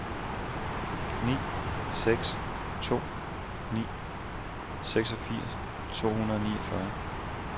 ni seks to ni seksogfirs to hundrede og niogfyrre